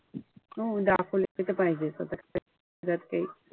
हो आता त्याच्यात काई,